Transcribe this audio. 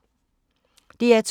DR2